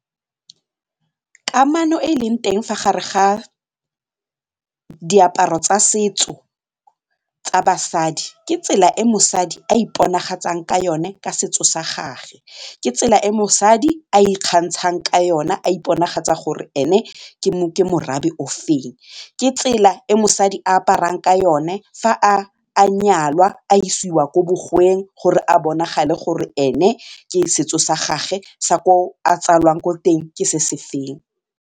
Kamano e e leng teng fa gare ga diaparo tsa setso tsa basadi ke tsela e mosadi a iponagatsang ka yone ka setso sa gage, ke tsela e mosadi a ikgantshang ka yone a iponagatsa gore ene ke morafe o feng, ke tsela e mosadi a aparang ka yone fa a nyalwa a isiwa ko bogweng gore a bonagale gore ene ke setso sa gagwe sa ko a tsalwang ko teng ke se se feng.